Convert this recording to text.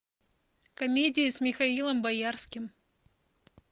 комедии с михаилом боярским